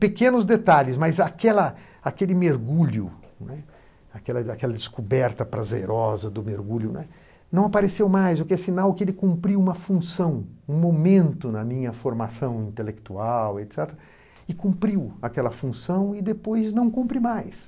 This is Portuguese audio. Pequenos detalhes, mas aquela aquele mergulho, né, aquela descoberta prazerosa do mergulho, né, não apareceu mais, o que é sinal que ele cumpriu uma função, um momento na minha formação intelectual e cumpriu aquela função e depois não cumpre mais.